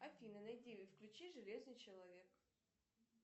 афина найди и включи железный человек